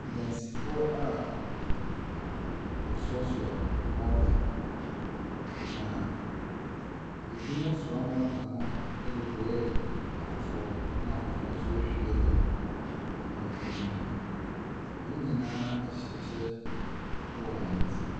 Adansifoɔ a wɔasoasoa mɔɔta na ebinom soa mɔɔta no de brɛ afoforɔ, na afoforɔ nso ahwie agu amena bi mu. Wɔn nyinaa hyɛ kyɛ wɔ wɔn ti.